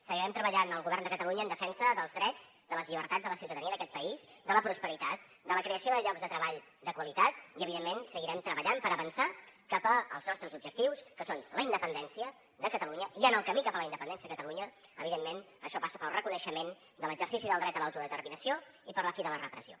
seguirem treballant el govern de catalunya en defensa dels drets de les llibertats de la ciutadania d’aquest país de la prosperitat de la creació de llocs de treball de qualitat i evidentment seguirem treballant per avançar cap als nostres objectius que són la independència de catalunya i en el camí cap a la independència de catalunya evidentment això passa pel reconeixement de l’exercici del dret a l’autodeterminació i per la fi de la repressió